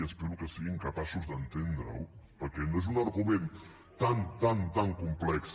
i espero que siguin capaços d’entendre·ho perquè no és un argument tan tan complex